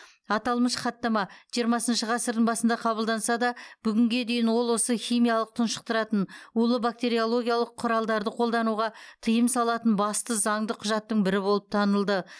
аталмыш хаттама жиырмасыншы ғасырдың басында қабылданса да бүгінге дейін ол осы химиялық тұншықтыратын улы бактериологиялық құралдарды қолдануға тыйым салатын басты заңды құжаттың бірі болып танылды